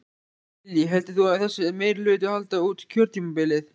Lillý: Heldur þú að þessi meirihluti haldi út kjörtímabilið?